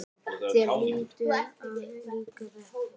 Þér hlýtur að líka þetta?